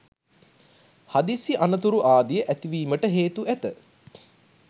හදිසි අනතුරු ආදිය ඇතිවීමට හේතු ඇත